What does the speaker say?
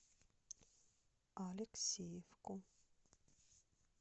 алексеевку